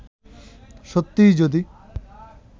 সত্যিই যদি